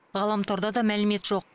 ғаламторда да мәлімет жоқ